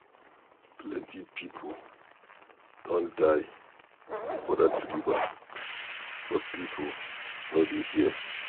Plenty people don die for dat river but people no dey hear.